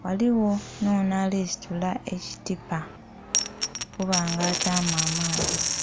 ghaligho nonho ali situla ekitipa okuba nga ataamu amaadhi.